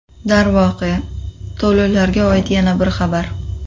Darvoqe, to‘lovlarga oid yana bir xabar.